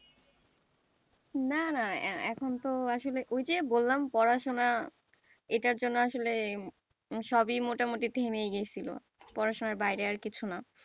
না না এখন তো আসলে ওই যে বললাম পড়াশোনা এটার জন্য আসলে সবই মোটামটি থেমে গেছিল পড়াশোনার বাইরে আর কিছু না,